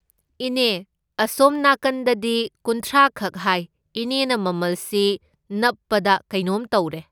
ꯏꯅꯦ ꯑꯁꯣꯝ ꯅꯥꯀꯟꯗꯗꯤ ꯀꯨꯟꯊ꯭ꯔꯥꯈꯛ ꯍꯥꯏ, ꯏꯅꯦꯅ ꯃꯃꯜꯁꯤ ꯅꯞꯄꯕꯥ ꯀꯩꯅꯣꯝ ꯇꯧꯔꯦ꯫